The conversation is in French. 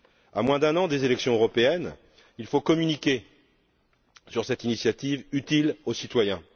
À moins d'un an des élections européennes, il faut communiquer sur cette initiative utile aux citoyens.